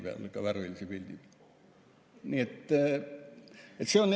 Nii et see on jälle selline.